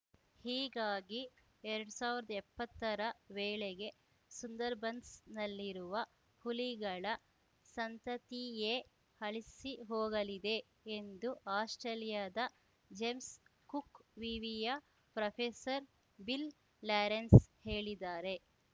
ಹೀಗಾಗಿ ಎರಡ್ ಸಾವಿರ್ದ್ ಎಪ್ಪತ್ತರ ವೇಳೆಗೆ ಸುಂದರ್‌ಬನ್ಸ್‌ನಲ್ಲಿರುವ ಹುಲಿಗಳ ಸಂತತಿಯೇ ಅಳಿಸಿಹೋಗಲಿದೆ ಎಂದು ಆಸ್ಪ್ರೇಲಿಯಾದ ಜೇಮ್ಸ್‌ ಕುಕ್‌ ವಿವಿಯ ಪ್ರೊಫೆಸರ್‌ ಬಿಲ್‌ ಲಾರೆನ್ಸ್‌ ಹೇಳಿದ್ದಾರೆ